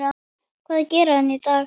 Hvað gerir hann í dag?